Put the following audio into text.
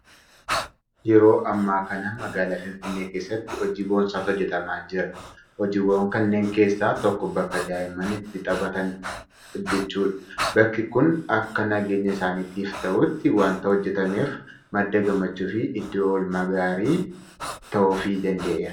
Yeroo ammaa kana magaalaa Finfinnee keessatti hojii boonsaatu hojjetamaa jira. Hojiiwwan kanneen keessaa tokko bakka daa'imman itti taphatan hojjechuudha. Bakki kun akka nageenya isaaniitiif ta'utti waanta hojjetameef madda gammachuufi iddoo oolmaa gaarii ta'uufii danda'eera.